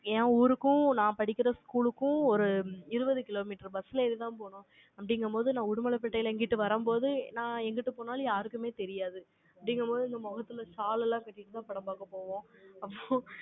Yen ஊருக்கும், நான் படிக்கிற school க்கும், ஒரு இருபது கிலோமீட்டர் bus ல ஏறிதான் போகனும். அப்படிங்கும்போது, நான் உடுமலைப்பேட்டையில இங்கிட்டு வரும்போது, நான் எங்கிட்டு போனாலும், யாருக்குமே தெரியாது. அப்படிங்கும்போது, இந்த முகத்துல சால் எல்லாம் கட்டிட்டுதான், படம் பார்க்க போவோம். அப்பறம்